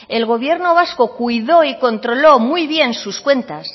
el gobierno vasco cuidó y controló muy bien sus cuentas